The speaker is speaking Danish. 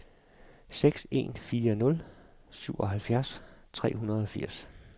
seks en fire nul syvoghalvfjerds tre hundrede og firs